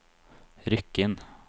Rykkinn